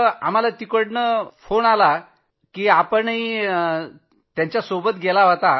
आम्हाला तिथनं दूरध्वनी आला की आपणही त्यांच्यबरोबर गेला होता